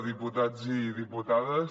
diputats i diputades